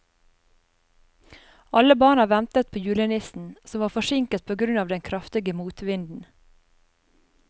Alle barna ventet på julenissen, som var forsinket på grunn av den kraftige motvinden.